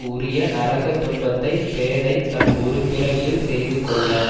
உரிய நரகத் துன்பத்தை பேதைத் தன் ஒரு பிறவியில் செய்து கொள்ள